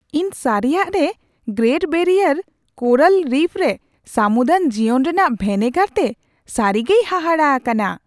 ᱤᱧ ᱥᱟᱹᱨᱤᱭᱟᱜ ᱨᱮ ᱜᱨᱮᱴ ᱵᱮᱨᱤᱭᱟᱨ ᱠᱳᱨᱟᱞ ᱨᱤᱯᱷ ᱨᱮ ᱥᱟᱹᱢᱩᱫᱟᱱ ᱡᱤᱭᱚᱱ ᱨᱮᱭᱟᱜ ᱵᱷᱮᱱᱮᱜᱟᱨ ᱛᱮ ᱥᱟᱹᱨᱤᱜᱮᱭ ᱦᱟᱦᱟᱲᱟᱜ ᱟᱠᱟᱱᱟ ᱾